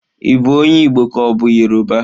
Ị bụ onye Igbo ka ọ bụ Yoruba?